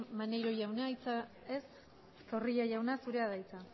maneiro jauna ez zorrilla jauna zurea da hitza